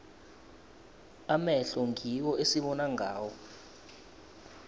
amehlo ngiwo esibona ngawo